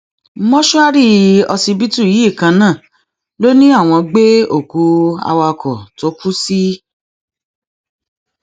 mòṣùárì ọsibítù yìí kan náà ló ní àwọn gbé òkú awakọ tó kù sí